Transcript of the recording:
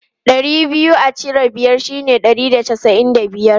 Ɗari biyu a cire biyar shine ɗari da casa'in da biyar.